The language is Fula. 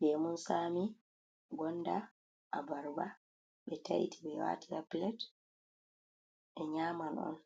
Lemun tsami, gonda, abarba, ɓe taiti ɓe wati haa pilat ɓe nyaman on,